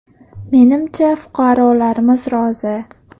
Menimcha, fuqarolarimiz rozi.